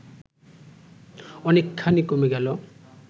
অনেকখানি কমে গেল